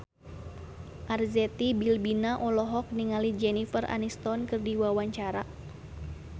Arzetti Bilbina olohok ningali Jennifer Aniston keur diwawancara